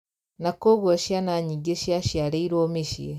Na koguo ciana nyingĩ ciaciarĩirwo mĩciĩ